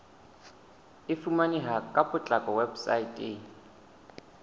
e fumaneha ka potlako weposaeteng